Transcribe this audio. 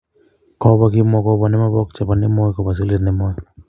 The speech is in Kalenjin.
Kobo kimwa kobo ne mebok chebo nemoi kibo sigilet nemoi.